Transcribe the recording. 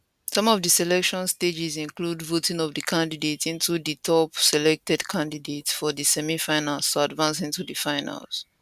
some of di selection stages include voting of di candidate into di top selected candidates for di semifinals to advance into di finals